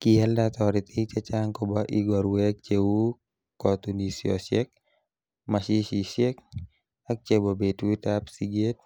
Kialda toritik chechang koba igorwek cheu kotunisiosiek, mashishisiek ak chebo betut ab siget,